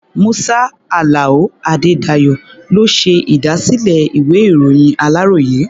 Musa Alao Adedayo ló ṣe ìdásílẹ̀ ìwé-ìròyìn aláròyé.